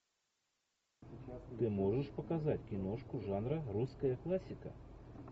ты можешь показать киношку жанра русская классика